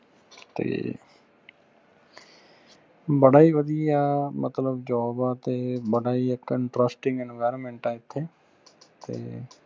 ਤੇ ਬੜਾ ਹੀ ਵਧੀਆ ਮਤਲਬ job ਆ ਤੇ ਬੜਾ ਹੀ interesting environment ਆ ਐਥੇ ਤੇ